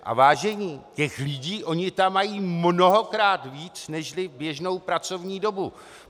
A vážení, těch lidí oni tam mají mnohokrát víc nežli v běžnou pracovní dobu.